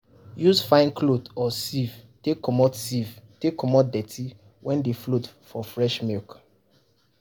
use fine cloth or sieve take comot sieve take comot dirty wey dey float for fresh milk.